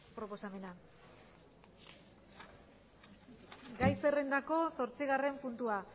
proposamena gai zerrendako zortzigarren puntua